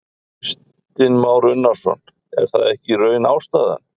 Kristinn Már Unnarsson: Er það ekki í raun ástæðan?